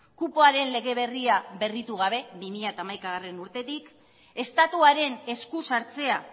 kupoaren lege berria berritu gabe bi mila hamaikagarrena urtetik estatuaren esku sartzea